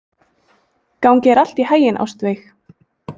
Gangi þér allt í haginn, Ástveig.